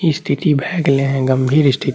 स्तिथि भय गेले है गंभीर स्ति --